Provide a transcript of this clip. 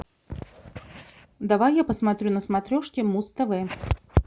давай я посмотрю на смотрешке муз тв